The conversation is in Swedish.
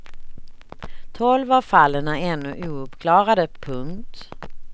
Tolv av fallen är ännu ouppklarade. punkt